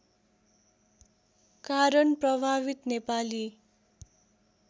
कारण प्रभावित नेपाली